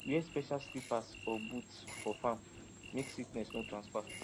wear special slippers or boots for farm make sickness no transfer